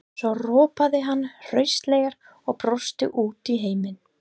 Svo ropaði hann hraustlega og brosti út í heiminn.